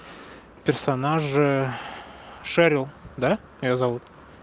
персонажи шерил да я зовут